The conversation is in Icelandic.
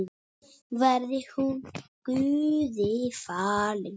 Verði hún Guði falin.